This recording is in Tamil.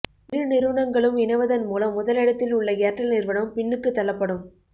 இரு நிறுவனங்களும் இணைவதன் மூலம் முதலிடத்தில் உள்ள ஏர்டெல் நிறுவனம் பின்னுக்குத் தள்ளப்படும்